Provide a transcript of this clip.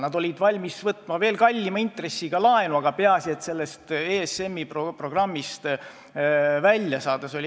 Nad olid valmis võtma veel kallima intressiga laenu, peaasi et saaks sellest ESM-i programmist välja.